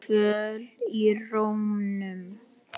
Kvöl í rómnum.